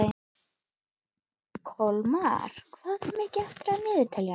Kolmar, hvað er mikið eftir af niðurteljaranum?